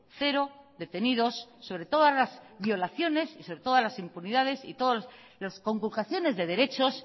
cero detenidos sobre todas las violaciones y sobre todas las impunidades y todas las conculcaciones de derechos